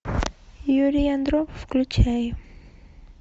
юрий андропов включай